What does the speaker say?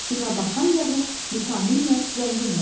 Günəbaxan yağı vitaminlə zəngin olur.